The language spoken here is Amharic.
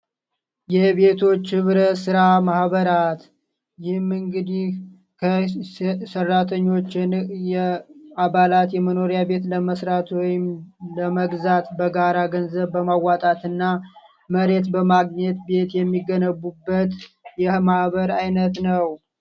የቤቶች ህብረት ሥራ ማህበራት ይህም እንግዲህ ከሰራተኞች ዕንቅ የአባላት የመኖሪያ ቤት ለመስራት ወይም ለመግዛት በጋራ ገንዘብ በማዋጣት እና መሬት በማግኘት ቤት የሚገነቡበት የማህበር ዓይነት ነው።